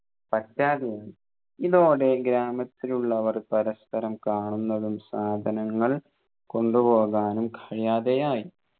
പറ്റാതെയായി ഇതോടെ ഗ്രാമത്തിലുള്ളവർ പരസ്പരം കാണുന്നതും സാധനങ്ങൾ കൊണ്ടുപോകാനും കഴിയാതെയായി